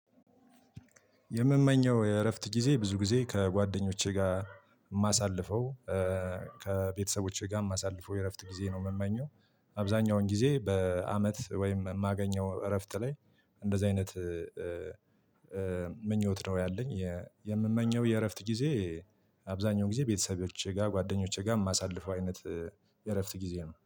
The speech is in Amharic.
የምመኘው የእረፍት ጊዜ ብዙ ጊዜ ከጓደኞቼ ጋር የማሳልፈው ከቤተሰቦቼ ጋር ማሳልፈው የእረፍት ጊዜ ነው የምመኘው። አብዛኛውን ጊዜ በአመት ወይም የማገኘው እረፍት ላይ እንደዚህ አይነት ምኞት ነው ያለኝ። የምመኘው የእረፍት ጊዜ አብዛኛው ጊዜ ቤተሰቦቼ ጋር ጓደኞቼ ጋር የማሳልፈው አይነት የእረፍት ጊዜ ነው